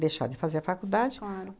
Deixar de fazer a faculdade. Claro.